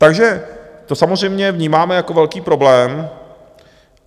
Takže to samozřejmě vnímáme jako velký problém.